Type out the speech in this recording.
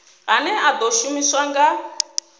ane a ḓo shumiswa nga